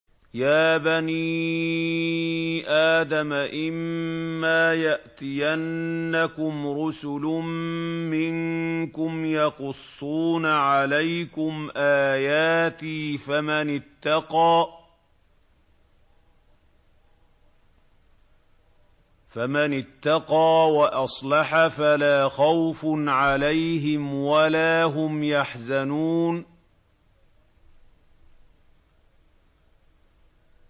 يَا بَنِي آدَمَ إِمَّا يَأْتِيَنَّكُمْ رُسُلٌ مِّنكُمْ يَقُصُّونَ عَلَيْكُمْ آيَاتِي ۙ فَمَنِ اتَّقَىٰ وَأَصْلَحَ فَلَا خَوْفٌ عَلَيْهِمْ وَلَا هُمْ يَحْزَنُونَ